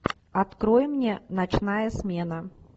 открой мне ночная смена